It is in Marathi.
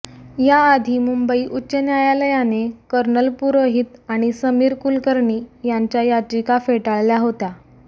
याआधी मुंबई उच्च न्यायालयाने कर्नल पुरोहित आणि समीर कुलकर्णी यांच्या याचिका फेटाळल्या होत्या